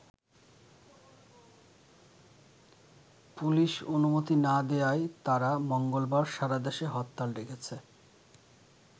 Police অনুমতি না দেয়ায় তারা মঙ্গলবার সারাদেশে হরতাল ডেকেছে।